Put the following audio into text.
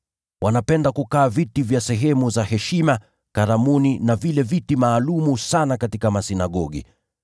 Wanapenda kukalia viti vya heshima katika karamu, na vile viti maalum sana katika masinagogi.